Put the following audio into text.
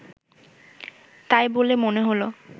তাই বলে মনে হল